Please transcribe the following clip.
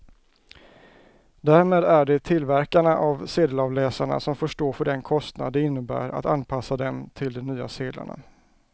Därmed är det tillverkarna av sedelavläsarna som får stå för den kostnad det innebär att anpassa dem till de nya sedlarna.